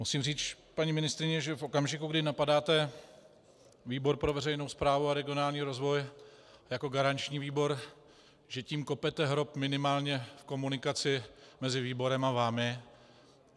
Musím říct, paní ministryně, že v okamžiku, kdy napadáte výbor pro veřejnou správu a regionální rozvoj jako garanční výbor, že tím kopete hrob minimálně v komunikaci mezi výborem a vámi.